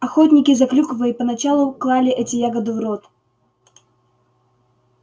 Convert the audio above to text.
охотники за клюквой поначалу клали эти ягоды в рот